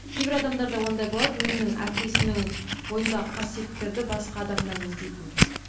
кейбір адамдарда ондай болады өзінің әкесінің бойындағы қасиеттерді басқа адамнан іздейтін